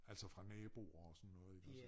Altså fra naboer og sådan noget iggås